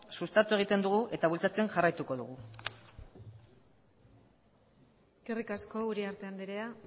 sustatu egiten dugu eta bultzatzen jarraituko dugu eskerrik asko uriarte andrea